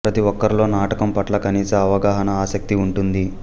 ప్రతి ఒక్కరిలో నాటకం పట్ల కనీస అవగాహన ఆసక్తి ఉంటుంది